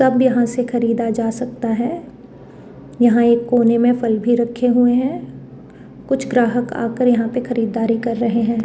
तब यहां से खरीदा जा सकता है यहां एक कोने में फल भी रखे हुए हैं कुछ ग्राहक आकर यहां पे खरीदारी कर रहे हैं।